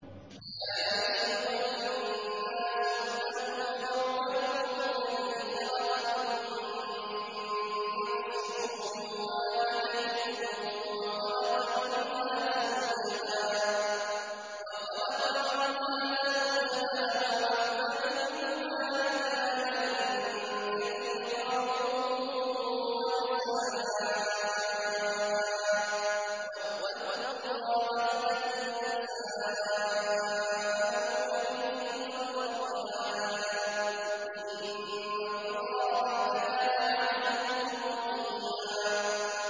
يَا أَيُّهَا النَّاسُ اتَّقُوا رَبَّكُمُ الَّذِي خَلَقَكُم مِّن نَّفْسٍ وَاحِدَةٍ وَخَلَقَ مِنْهَا زَوْجَهَا وَبَثَّ مِنْهُمَا رِجَالًا كَثِيرًا وَنِسَاءً ۚ وَاتَّقُوا اللَّهَ الَّذِي تَسَاءَلُونَ بِهِ وَالْأَرْحَامَ ۚ إِنَّ اللَّهَ كَانَ عَلَيْكُمْ رَقِيبًا